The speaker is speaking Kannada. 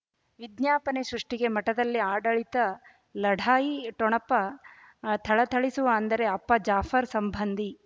ವಿಜ್ಞಾಪನೆ ಸೃಷ್ಟಿಗೆ ಮಠದಲ್ಲಿ ಆಡಳಿತ ಲಢಾಯಿ ಠೊಣಪ ಥಳಥಳಿಸುವ ಅಂದರೆ ಅಪ್ಪ ಜಾಫರ್ ಸಂಬಂಧಿ